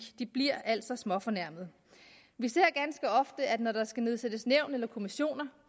de bliver altså småfornærmede vi ser ganske ofte at når der skal nedsættes nævn eller kommissioner